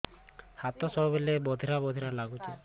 ହାତ ସବୁବେଳେ ବଧିରା ବଧିରା ଲାଗୁଚି